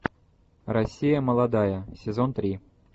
россия молодая сезон три